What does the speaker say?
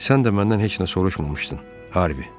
Sən də məndən heç nə soruşmamışdın, Harvi.